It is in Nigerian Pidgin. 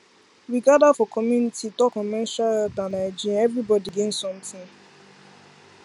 we gather for community talk on menstrual health and hygiene everybody gain something